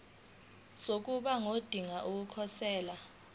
sokuba ngodinga ukukhosela